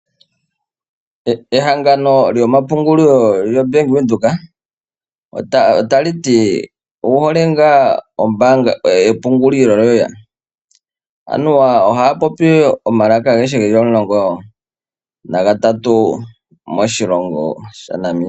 Ehangano lyomapungulilo lyo Bank Windhoek otali ti owu hole ngaa epungulilo loye? Anuwa ohaya popi omalaka agehe geli omulongo na ga tatu moshilongo sha Namibia.